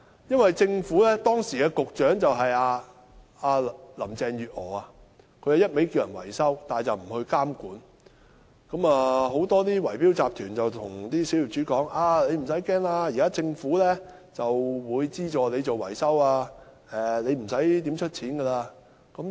由於時任局長林鄭月娥只不斷呼籲業主維修樓宇，卻不監管，以致很多圍標集團對小業主說："你不用怕，現在政府會資助你進行維修，你不用支付太多錢。